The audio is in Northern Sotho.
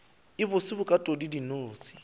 a bose bokatodi ya dinose